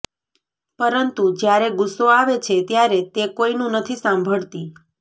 પરંતુ જ્યારે ગુસ્સો આવે છે ત્યારે તે કોઈનું નથી સાંભળતી